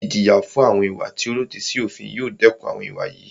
Ìjìyà fún àwọn ìwà tí o lòdì sí òfin yóò dẹkùn àwọn ìwà yìí.